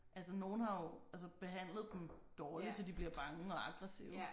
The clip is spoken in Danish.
Altså nogle har jo altså behandlet dem dårligt så de bliver bange og aggressive